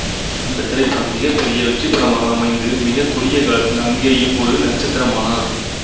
அந்தத் திரைப்படம் மிகப் பெரிய வெற்றிப் படமாக அமைந்து மிகக் குறுகிய காலத்தில் அங்கேயும் ஒரு நட்சத்திரமானார்